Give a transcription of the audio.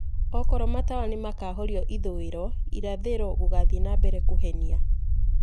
Okorwo matawa nĩmakahorio ithũĩro, irathĩro gũgathiĩ na mbere kũhenia.